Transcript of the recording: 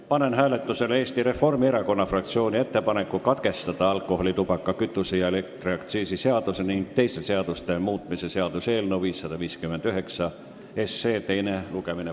Panen hääletusele Eesti Reformierakonna fraktsiooni ettepaneku alkoholi-, tubaka-, kütuse- ja elektriaktsiisi seaduse ning teiste seaduste muutmise seaduse eelnõu 559 teine lugemine katkestada.